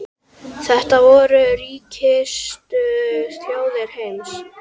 Þetta voru ríkustu þjóðir heims.